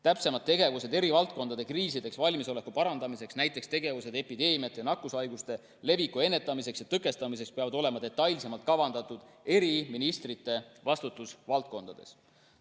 Täpsemad tegevused eri valdkondade kriisideks valmisoleku parandamiseks, näiteks tegevused epideemiate ja nakkushaiguste leviku ennetamiseks ja tõkestamiseks, peavad olema detailsemalt kavandatud ministrite vastutusvaldkondades.